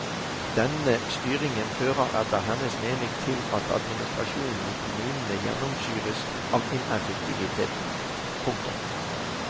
Denne styringen fører etter hennes mening til at administrasjonen i kommunene gjennomsyres av ineffektivitet. punktum